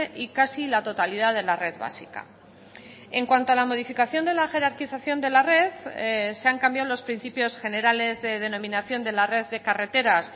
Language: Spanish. y casi la totalidad de la red básica en cuanto a la modificación de la jerarquización de la red se han cambiado los principios generales de denominación de la red de carreteras